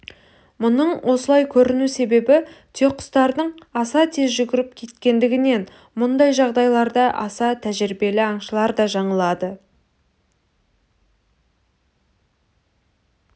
мұның осылай көріну себебі түйеқұстардың аса тез жүгіріп кеткендігінен мұндай жағдайларда аса тәжірибелі аңшылар да жаңылады